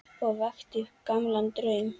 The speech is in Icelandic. Og vakti upp gamlan draum.